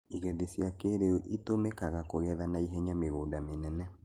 igethi cia kĩrĩu citũmĩkagakũgetha na ihenya mĩgũnda mĩnene.